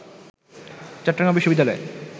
চট্টগ্রাম বিশ্ববিদ্যালয়ে